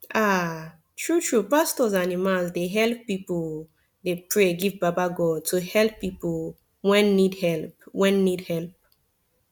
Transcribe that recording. aah tru tru pastos and imams dey helep pipu dey pray give baba godey to helep pipu wen need helep wen need helep